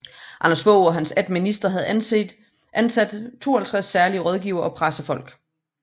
Anders Fogh og hans 18 ministre havde ansat 52 særlige rådgivere og pressefolk